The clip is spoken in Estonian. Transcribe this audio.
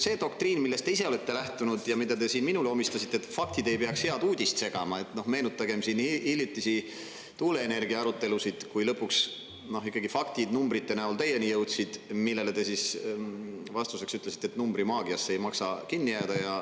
See doktriin, millest te ise olete lähtunud ja mida te siin minule omistasite, et faktid ei peaks head uudist segama – meenutagem siin hiljutisi tuuleenergia arutelusid, kui lõpuks ikkagi faktid numbrite näol teieni jõudsid, millele te siis vastuseks ütlesite, et numbrimaagiasse ei maksa kinni jääda.